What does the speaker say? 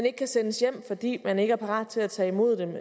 ikke kan sendes hjem fordi man ikke er parat til at tage imod dem